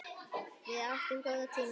Við áttum góða tíma saman.